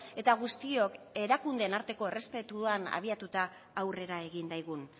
eta guztiok erakundeen arteko errespetuan abiatuta aurrera egin daigun